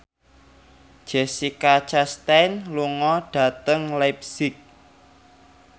Jessica Chastain lunga dhateng leipzig